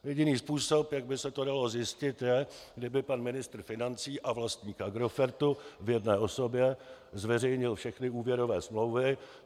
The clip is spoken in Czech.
Jediný způsob, jak by se to dalo zjistit, je, kdyby pan ministr financí a vlastník Agrofertu v jedné osobě zveřejnil všechny úvěrové smlouvy.